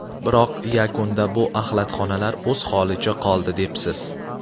Biroq yakunda bu axlatxonalar o‘z holicha qoldi” debsiz.